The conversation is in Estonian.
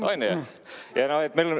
On ju!